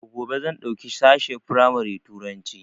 Daga gobe zan ɗauki sashen firamari Turanci